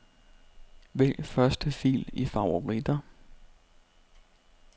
Vælg første fil i favoritter.